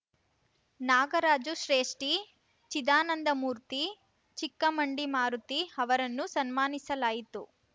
ನಾಗರಾಜು ಶ್ರೇಷ್ಠಿ ಚಿದಾನಂದಮೂರ್ತಿ ಚಿಕ್ಕಮಂಡಿಮಾರುತಿ ಅವರನ್ನು ಸನ್ಮಾನಿಸಲಾಯಿತು